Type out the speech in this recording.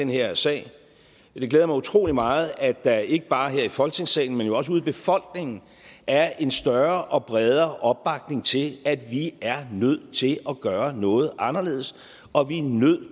her sag det glæder mig utrolig meget at der ikke bare her i folketingssalen men også ude i befolkningen er en større og bredere opbakning til at vi er nødt til at gøre noget anderledes og at vi er nødt